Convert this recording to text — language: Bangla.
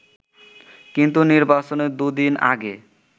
কিন্তু নির্বাচনের দুদিন আগে